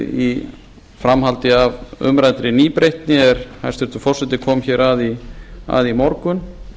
í framhaldi af umræddri nýbreytni er hæstvirtur forseti kom hér að í morgun